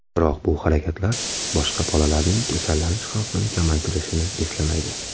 Biroq bu harakatlar boshqa bolalarning kasallanish xavfini kamaytirishini eslamaydi.